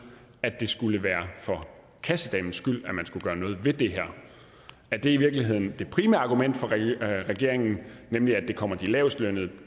at det skulle være for kassedamens skyld at man skulle gøre noget ved det her er det i virkeligheden det primære argument for regeringen nemlig at det kommer de lavestlønnede